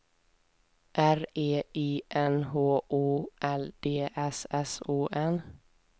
R E I N H O L D S S O N